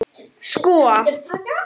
Sko